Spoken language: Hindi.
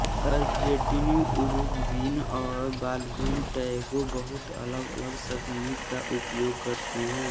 अर्जेंटीनी उरुग्वियन और बॉलरूम टैंगो बहुत अलगअलग तकनीक का उपयोग करते हैं